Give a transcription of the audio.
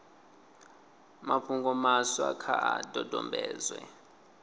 mafhungo maswa kha a dodombedzwe